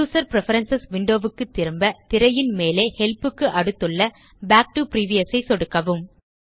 user preference window க்கு திரும்ப திரையின் மேலே ஹெல்ப் க்கு அடுத்துள்ள பாக் டோ பிரிவியஸ் ஐ சொடுக்கவும்